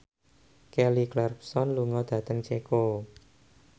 Kelly Clarkson lunga dhateng Ceko